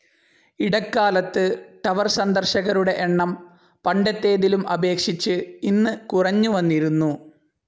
ഇടക്കാലത്ത് ടവർ സന്ദർശകരുടെ എണ്ണം പണ്ടത്തേതിലും അപേക്ഷിച്ച് ഇന്ന് കുറഞ്ഞുവന്നിരുന്നു.